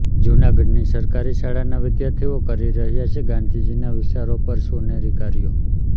જૂનાગઢની સરકારી શાળાના વિદ્યાર્થીઓ કરી રહ્યાં છે ગાંધીજીના વિચારો પર સોનેરી કાર્યો